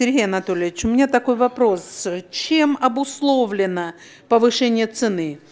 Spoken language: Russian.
сергей анатольевич у меня такой вопрос чем обусловлено повышение цены